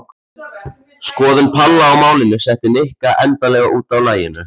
Skoðun Palla á málinu setti Nikka endanlega út af laginu.